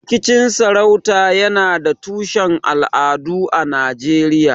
Rikicin sarauta yana da tushen al'adu a Najeriya.